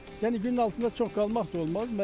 Yəni günün altında çox qalmaq da olmaz.